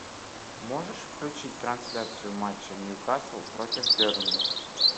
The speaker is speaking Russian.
можешь включить трансляцию матча нью касл против бернли